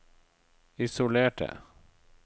isolerte